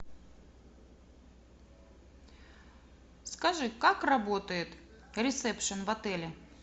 скажи как работает ресепшен в отеле